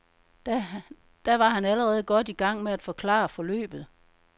Da var han allerede godt i gang med at forklare forløbet.